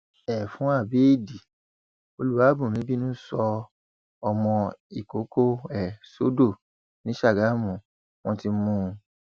ẹfun abẹẹdì olúwàbùnmí bínú sọ ọmọ ìkọkọ ẹ sódò ni sàgámù wọn ti mú un